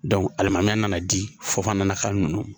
alimamuya nana di fo fana na ka ninnu